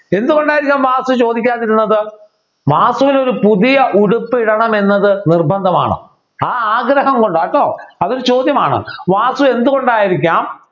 എന്തുകൊണ്ടായിരിക്കും വാസു ചോദിക്കാതിരുന്നത് വാസുവിന് ഒരു പുതിയ ഉടുപ്പിടണം എന്നത് നിർബന്ധമാണ് ആ ആഗ്രഹം കൊണ്ട് കേട്ടോ അതൊരു ചോദ്യമാണ് വാസു എന്തുകൊണ്ടായിരിക്കാം